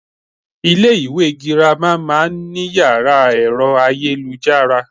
Ilé ìwé girama má a nní yàrá èro ayélujára